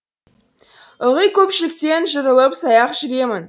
ылғи көпшіліктен жырылып саяқ жүремін